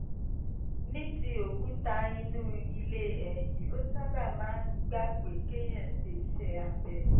ní ti òkúta inú ilé ẹyin ó sábà máa ń gba pé kéèyàn ṣe iṣẹ́ abẹ